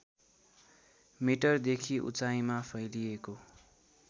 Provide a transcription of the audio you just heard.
मिटरदेखि उचाइमा फैलिएको